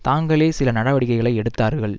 தாங்களே சில நடவடிக்கைகளை எடுத்தார்கள்